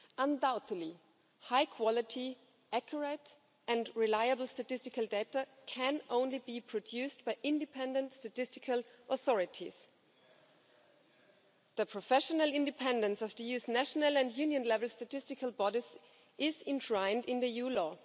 Undoubtedly, high-quality, accurate and reliable statistical data can only be produced by independent statistical authorities. The professional independence of the EU's national and Union-level statistical bodies is enshrined in EU law.